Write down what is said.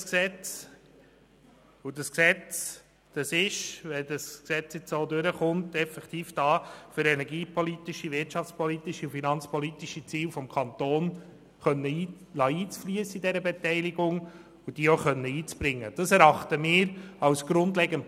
Wenn das bereinigte Gesetz nun so durchkommt, ist es effektiv da, um energie-, wirtschafts- und finanzpolitische Ziele des Kantons in dieser Beteiligung einfliessen zu lassen und auch einbringen zu können.